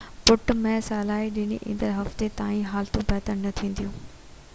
پٽ مين صلاح ڏني تہ ايندڙ هفتي تائين حالتون بهتر نہ ٿينديون